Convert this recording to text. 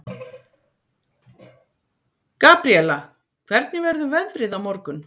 Gabríella, hvernig verður veðrið á morgun?